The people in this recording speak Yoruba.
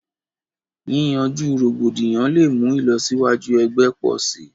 Yìyànju rògbòdíyàn lẹ̀ mú ilọ̀síwàjú ẹ̀gbẹ̀ pọ̀ sí.